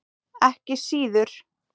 Ekki síður.